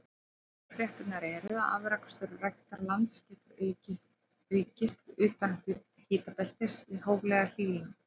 Góðu fréttirnar eru að afrakstur ræktarlands getur aukist utan hitabeltis við hóflega hlýnun.